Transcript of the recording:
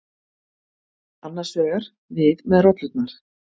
Annars vegar: við með rollurnar.